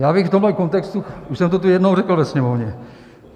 Já bych v tomhle kontextu - už jsem to tu jednou řekl, ve Sněmovně.